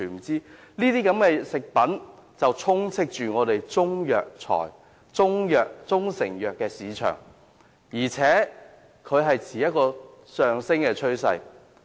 這些食品充斥香港的中成藥市場，而且數量有上升趨勢。